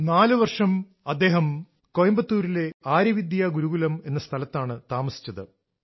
4 വർഷമായി അദ്ദേഹം കോയമ്പത്തൂരിലെ ആര്യ വിദ്യാ ഗുരുകുലം എന്ന സ്ഥലത്താണ് താമസിച്ചത്